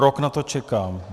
Rok na to čekám.